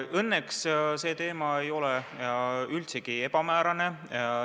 Õnneks see teema ei ole üldsegi ebamäärane.